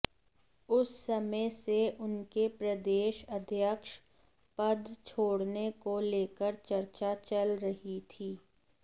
उस समय से उनके प्रदेश अध्यक्ष पद छोड़ने को लेकर चर्चा चल रही थी